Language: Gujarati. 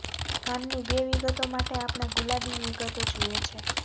કાનની બે વિગતો માટે આપણે ગુલાબી વિગતો જુએ છે